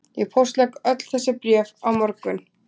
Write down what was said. Ég póstlegg öll þessi bréf á morgun